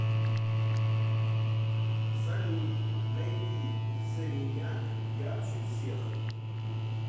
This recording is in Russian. салют найди семеняк ярче всех